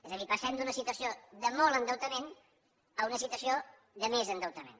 és a dir passem d’una situació de molt endeutament a una situació de més endeutament